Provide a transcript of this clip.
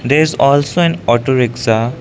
there is also an auto rickshaw.